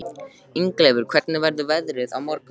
Ingileifur, hvernig verður veðrið á morgun?